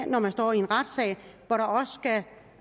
når man står i en retssag